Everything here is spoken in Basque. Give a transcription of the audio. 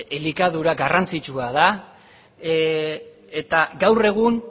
elikadura garrantzitsua da eta gaur egun